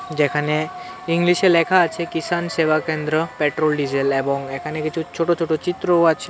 যেখানে ইংলিশে লেখা আছে কিষান সেবা কেন্দ্র পেট্রোল ডিজেল অ্যাবং এখানে কিছু ছোট ছোট চিত্রও আছে।